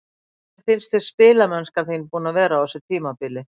Hvernig finnst þér spilamennskan þín búin að vera á þessu tímabili?